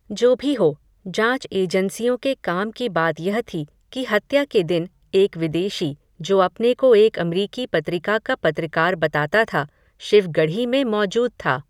जो भी हो, जाँच एजेंसियोँ के काम की बात यह थी, कि हत्या के दिन, एक विदेशी, जो अपने को एक अमरीकी पत्रिका का पत्रकार बताता था, शिव गढ़ी में मौजूद था